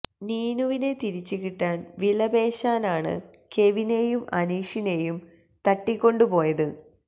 നീനുവിനെ തിരിച്ച് കിട്ടാൻ വിലപേശാനാണ് കെവിനെയും അനീഷിനേയും തട്ടിക്കൊണ്ട് പോയത്